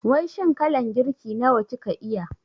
Wai shin kalan girki nawa kika iya?